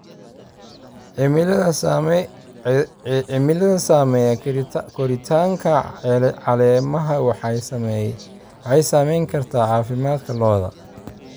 Cimilada saameeya koritaanka caleemaha waxay saameyn kartaa caafimaadka lo'da.